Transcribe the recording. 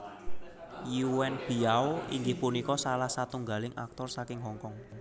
Yuen Biao inggih punika salah satunggaling aktor saking Hong Kong